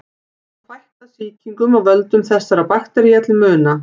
Hefur þetta fækkað sýkingum af völdum þessara baktería til muna.